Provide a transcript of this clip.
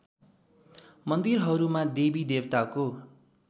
मन्दिरहरूमा देवी देवताको